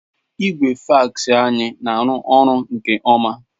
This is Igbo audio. Igwe fax anyị na-arụ ọrụ nke ọma.